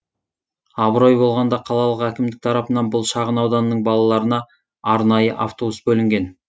абырой болғанда қалалық әкімдік тарапынан бұл шағын ауданның балаларына арнайы автобус бөлінген